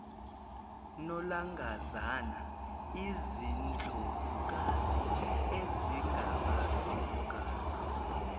nolangazana izindlovukazi ezingabafelokazi